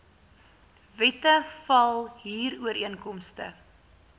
wette val huurooreenkomste